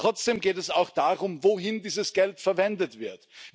Trotzdem geht es auch darum, wofür dieses Geld verwendet wird.